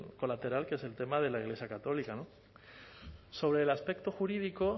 colateral que es el tema de la iglesia católica sobre el aspecto jurídico